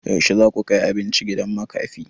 Yaushe zaku kai abinci gidan makafi?